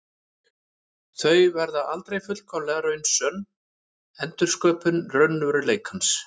Þau verða aldrei fullkomlega raunsönn endursköpun raunveruleikans.